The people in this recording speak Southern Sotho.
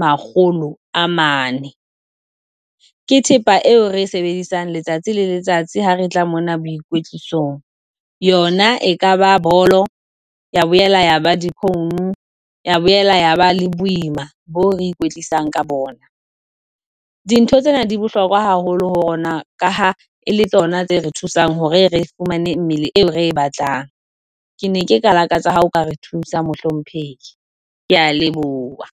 makgolo a mane, ke thepa eo re e sebedisang letsatsi le letsatsi ha re tla mona boikwetlisong, yona e ka ba bolo, ya boela ya ba difounu, ya boela ya ba le boima boo re ikwetlisang ka bona. Dintho tsena di bohlokwa haholo ho rona ka ha e le tsona tse re thusang hore re fumane mmele eo re e batlang. Ke ne ke ka lakatsa ha o ka re thusa mohlomphehi. Ke a leboha.